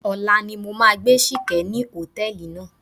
Ọ̀la ni mo máa gbá Ṣìkẹ́ ní hòtẹ́ẹ̀lì náà.